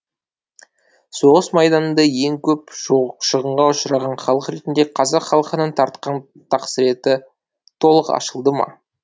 соғыс майданында ең көп шығынға ұшыраған халық ретінде қазақ халқының тартқан тақсіреті толық ашылды ма